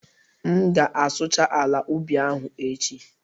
M ga-asụcha ala ubi ahụ echi